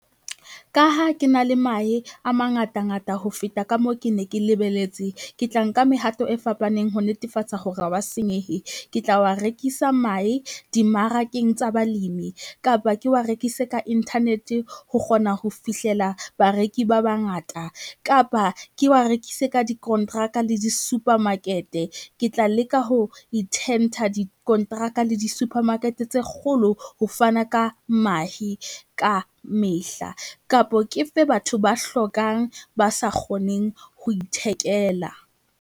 Ka ha ke na le mahe a mangatangata ho feta ka moo ke ne ke lebeletse, ke tla nka mehato e fapaneng ho netefatsa hore ha wa senyehe. Ke tla wa rekisa mahe dimmarakeng tsa balemi, kapa ke wa rekise ka internet ho kgona ho fihlela bareki ba bangata kapa ke wa rekise ka dikonteraka le di-supermarket. Ke tla leka ho dikonteraka le di-supermarket tse kgolo ho fana ka mahe ka mehla kapo ke fe batho ba hlokang ba sa kgoneng ho ithekela.